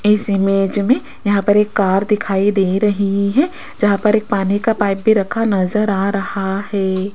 इस इमेज में यहां पर एक कार दिखाई दे रही है जहां पर एक पानी का पाइप भी रखा नजर आ रहा है।